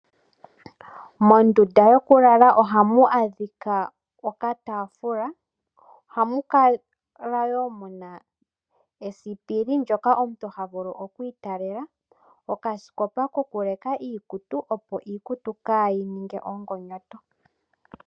Mondunda yokulala ohamu adhika okatafula, ohamu kala wo mu na esipili ndjoka omuntu ta vulu okwiitalela, nokasikopa ko kuleka iikutu opo iikutu kaayi ninge omagonyoto.